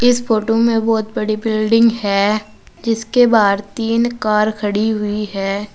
इस फोटो में बहोत बड़ी बिल्डिंग है जिसके बाद तीन कार खड़ी हुई है।